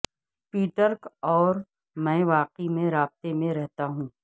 Patrick اور میں واقعی میں رابطے میں رہتا ہوں